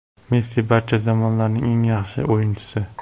Messi barcha zamonlarning eng yaxshi o‘yinchisi.